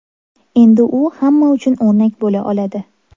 Endi u hamma uchun o‘rnak bo‘la oladi.